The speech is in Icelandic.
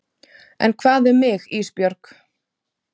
En hvað um mig Ísbjörg?